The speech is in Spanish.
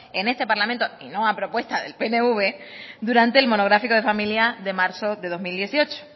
en este parlamento y no a propuesta del pnv durante el monográfico de familia de marzo de dos mil dieciocho